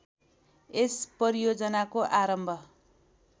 यस परियोजनाको आरम्भ